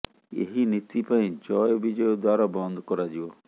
ଏହି ନୀତି ପାଇଁ ଜୟ ବିଜୟ ଦ୍ୱାର ବନ୍ଦ କରାଯିବ